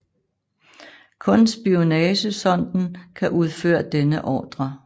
Kun spionagesonden kan udføre denne ordre